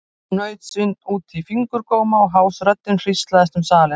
Hún naut sín út í fingurgóma og hás röddin hríslaðist um salinn.